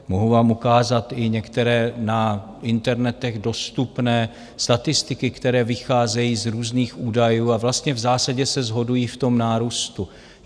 Mohu vám ukázat i některé na internetech dostupné statistiky, které vycházejí z různých údajů, a vlastně v zásadě se shodují v tom nárůstu.